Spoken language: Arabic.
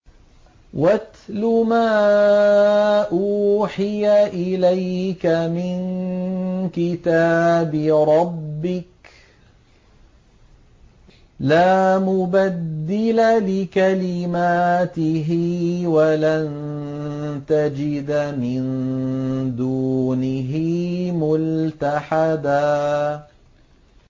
وَاتْلُ مَا أُوحِيَ إِلَيْكَ مِن كِتَابِ رَبِّكَ ۖ لَا مُبَدِّلَ لِكَلِمَاتِهِ وَلَن تَجِدَ مِن دُونِهِ مُلْتَحَدًا